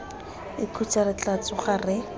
ikhutse re tla tsoga re